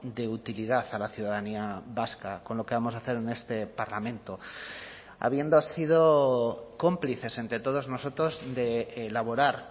de utilidad a la ciudadanía vasca con lo que vamos a hacer en este parlamento habiendo sido cómplices entre todos nosotros de elaborar